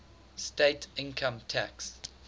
state income tax